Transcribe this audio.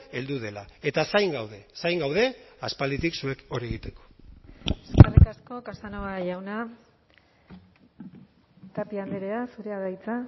heldu dela eta zain gaude zain gaude aspalditik zuek hori egiteko eskerrik asko casanova jauna tapia andrea zurea da hitza